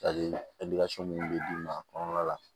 minnu bɛ d'u ma kɔnɔna la